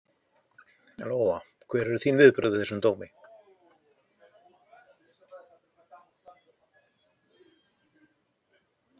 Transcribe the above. Lóa: Hver eru þín viðbrögð við þessum dómum?